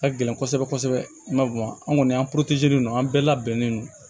Ka gɛlɛn kosɛbɛ kosɛbɛ n'a bamatilen don an bɛɛ labɛnnen non